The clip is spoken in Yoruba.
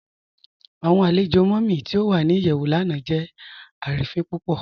Awọn alẹ̀jọ Mummy ti o wà ní iyẹwù lánà jẹ arínifin púpọ̀.